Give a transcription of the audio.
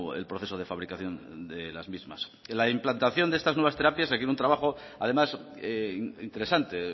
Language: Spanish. el proceso de fabricación de las mismas la implantación de estas nuevas terapias requiere un trabajo además interesante